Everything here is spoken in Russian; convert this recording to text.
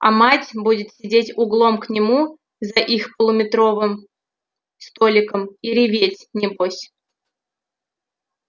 а мать будет сидеть углом к нему за их полуметровым столиком и реветь небось